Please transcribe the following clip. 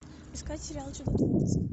искать сериал чудотворцы